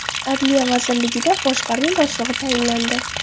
Adliya vazirligida boshqarma boshlig‘i tayinlandi.